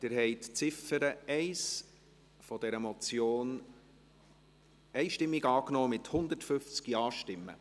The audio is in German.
Sie haben die Ziffer 1 dieser Motion einstimmig angenommen, mit 150 Ja-Stimmen.